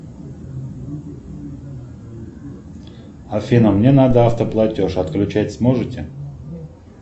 афина мне надо автоплатеж отключать сможете